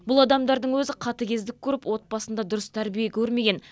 бұл адамдардың өзі қатыгездік көріп отбасында дұрыс тәрбие көрмеген